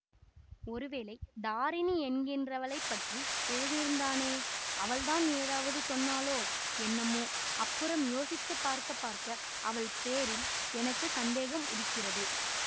ஒருவேளை தாரிணி என்கிறவளைப்பற்றி எழுதியிருந்தானே அவள்தான் ஏதாவது சொன்னாளோ என்னமோ அப்புறம் யோசித்து பார்க்க பார்க்க அவள் பேரில் எனக்கு சந்தேகம் உதிக்கிறது